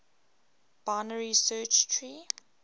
binary search tree